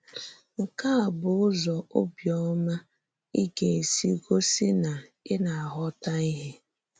Nke a bụ́ ùzò òbíọ̀má ì gà-èsì gòsì na ì na-aghọ́tà íhè.